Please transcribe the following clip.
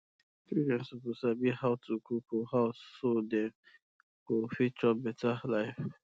children suppose sabi how to cook for house so dem um go fit chop better life